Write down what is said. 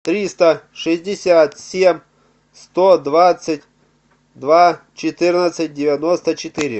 триста шестьдесят семь сто двадцать два четырнадцать девяносто четыре